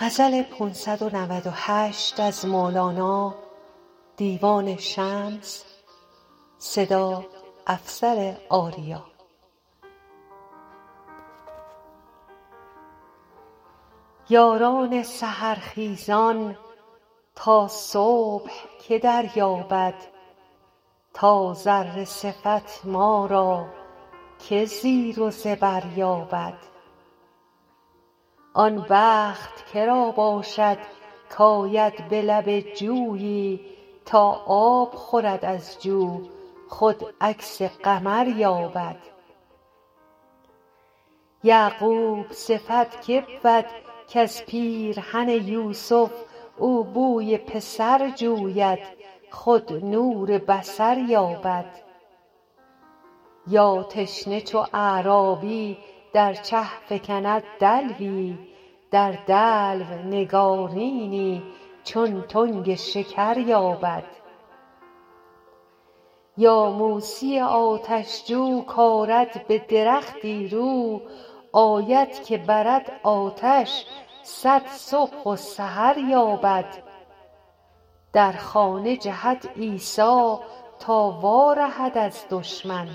یاران سحر خیزان تا صبح که دریابد تا ذره صفت ما را که زیر و زبر یابد آن بخت که را باشد کآید به لب جویی تا آب خورد از جو خود عکس قمر یابد یعقوب صفت که بود کز پیرهن یوسف او بوی پسر جوید خود نور بصر یابد یا تشنه چو اعرابی در چه فکند دلوی در دلو نگارینی چون تنگ شکر یابد یا موسی آتش جو کآرد به درختی رو آید که برد آتش صد صبح و سحر یابد در خانه جهد عیسی تا وارهد از دشمن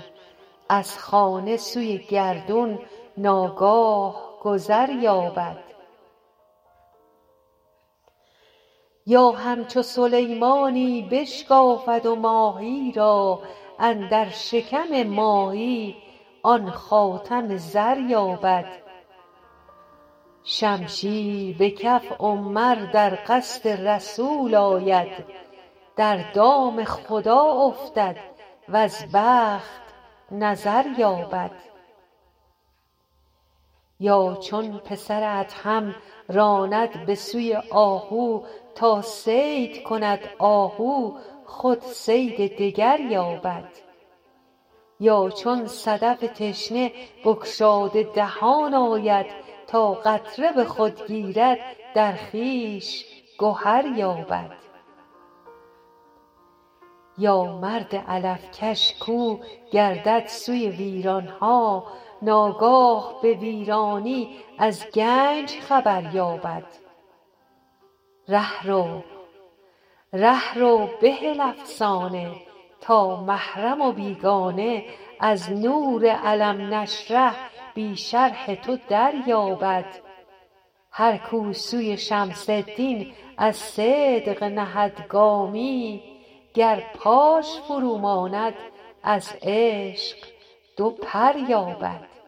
از خانه سوی گردون ناگاه گذر یابد یا همچو سلیمانی بشکافد ماهی را اندر شکم ماهی آن خاتم زر یابد شمشیر به کف عمر در قصد رسول آید در دام خدا افتد وز بخت نظر یابد یا چون پسر ادهم راند به سوی آهو تا صید کند آهو خود صید دگر یابد یا چون صدف تشنه بگشاده دهان آید تا قطره به خود گیرد در خویش گهر یابد یا مرد علف کش کاو گردد سوی ویران ها ناگاه به ویرانی از گنج خبر یابد ره رو بهل افسانه تا محرم و بیگانه از نور الم نشرح بی شرح تو دریابد هر کاو سوی شمس الدین از صدق نهد گامی گر پاش فروماند از عشق دو پر یابد